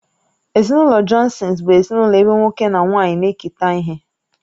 Ezinụlọ Johnsons bụ ezinụlọ ebe nwoke na nwaanyị na-eketa ihe